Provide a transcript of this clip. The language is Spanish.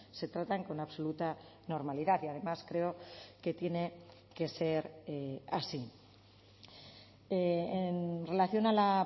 se tratan con absoluta normalidad y además creo que tiene que ser así en relación a la